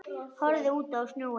Horfði út á sjóinn.